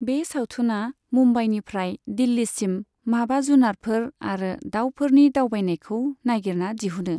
बे सावथुना मुम्बाईनिफ्राय दिल्लीसिम माबा जुनारफोर आरो दाउफोरनि दावबायनायखौ नागिरना दिहुनो।